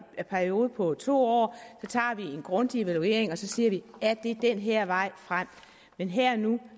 periode på to år tager vi en grundig evaluering og så siger vi er det den her vej frem men her og nu